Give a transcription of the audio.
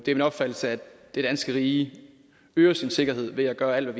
min opfattelse at det danske rige øger sin sikkerhed ved at gøre alt